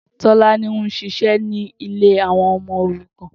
Tolani n ṣiṣẹ ni ilé awọn ọmọ órùkàn